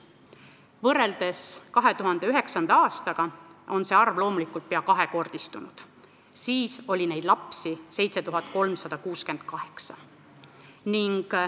Võrreldes 2009. aastaga on see arv peaaegu kahekordistunud, siis oli neid lapsi 7368.